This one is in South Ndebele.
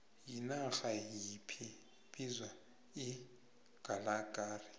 yinarha yiphi bizwa icalgary